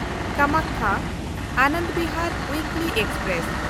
ᱠᱟᱢᱟᱠᱠᱷᱟ–ᱟᱱᱚᱱᱫ Bihar ᱩᱭᱤᱠᱞᱤ express